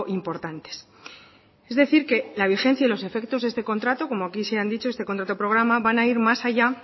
importantes es decir que la vigencia y los efectos de este contrato como aquí se han dicho este contrato programa van a ir más allá